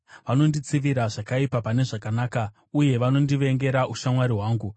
Vanonditsivira zvakaipa pane zvakanaka, uye vanondivengera ushamwari hwangu.